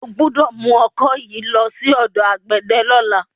O gbọ́dọ̀ mú ọkọ yìí lọ sí ọ̀dọ̀ àgbẹ̀dẹ lọ́la.